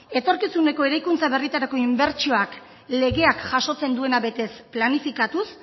etorkizuneko eraikuntza berrietarako inbertsioak legeak jasotzen duena betez eta planifikatuz